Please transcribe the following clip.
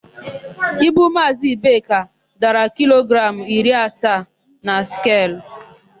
Ibu Maazị Ibeka dara kilogramụ iri asaa na skelu.